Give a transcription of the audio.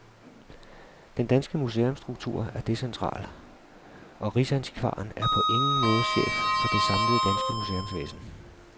Den danske museumsstruktur er decentral, og rigsantikvaren er på ingen måde chef for det samlede danske museumsvæsen.